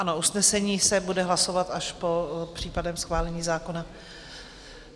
Ano, usnesení se bude hlasovat až po případném schválení zákona.